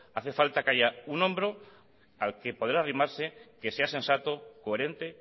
hace falta que haya un hombro al que poder arrimarse que sea sensato coherente